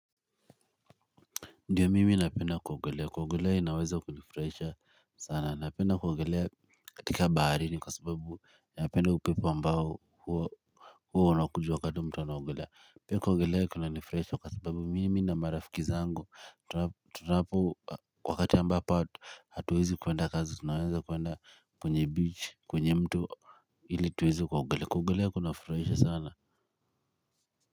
Ndiyo mimi napenda kuogelea, kuogelea inaweza kunifraisha sana, napenda kuogelea katika bahari ni kwa sababu napenda upipo ambao huo huwa unakuja wakati mtu anaogelea, pia kuogelea kuna nifraisha kwa sababu mimi na marafiki zangu tunapo wakati ambapo hatuwezi kwenda kazi, tunawenza kwenda kwenye beach, kunye mto ili tuwezi kuogelea, kuogelea, kuogelea kunafraisha sana.